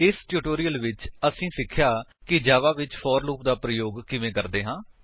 ਇਸ ਟਿਊਟੋਰਿਅਲ ਵਿੱਚ ਅਸੀਂ ਸਿੱਖਿਆ ਕਿ ਜਾਵਾ ਵਿੱਚ ਫੋਰ ਲੂਪ ਦਾ ਪ੍ਰਯੋਗ ਕਿਵੇਂ ਕਰਦੇ ਹਾਂ